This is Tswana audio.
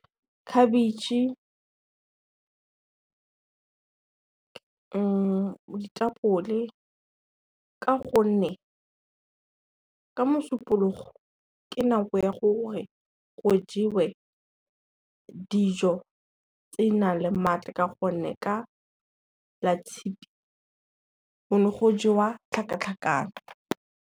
Khabetšhe, ditapole, ka gonne ka Mosupologo ke nako ya gore go jewe dijo tse di nang le matla ka gonne, ka la Tshitwe go ne go jewa tlhakatlhakano.